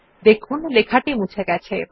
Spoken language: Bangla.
দেখুন লেখাটি মুছে গেছে